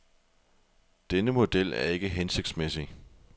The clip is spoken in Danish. Denne model er ikke hensigtsmæssig.